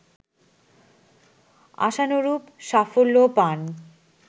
আশানুরূপ সাফল্যও পান